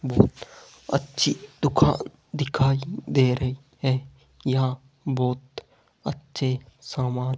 बहुत अच्छी दुकान दिखाई दे रही है यहां बहुत अच्छे सामान --